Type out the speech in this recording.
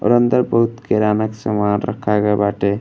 और अंदर बहुत किराना के सामान रखा गए बाटे।